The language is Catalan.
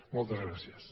moltes gràcies